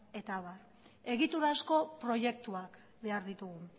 eta abar egiturazko proiektuak behar ditugu